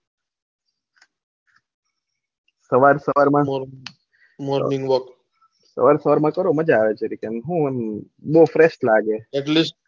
સવાર સવાર માં મજા આવે જરીક એમ ને મૂળ ફ્રેશ લાગે